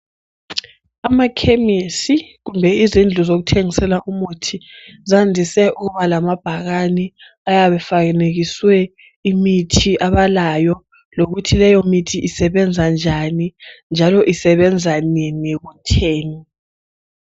Amachemis kumbe izindawo zokuthengisela umuthi zandise ukuba lamabhakane ayabe efanekiswe imithi abalayo lokuthi leyo mithi isebenzanjani njalo isebenza nini kutheni